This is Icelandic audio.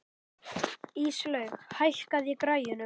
Íslaug, hækkaðu í græjunum.